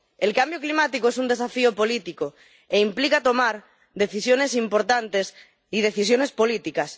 El cambio climático es un desafío político, e implica tomar decisiones importantes y decisiones políticas